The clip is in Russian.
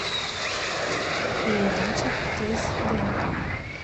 передача тест днк